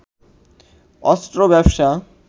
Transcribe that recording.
অস্ত্র ব্যবসা